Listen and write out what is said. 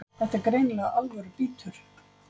Þetta er greinilega alvöru bítur